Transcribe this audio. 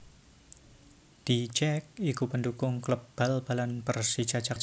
The Jak iku pendukung kléb bal balan Pérsija Jakarta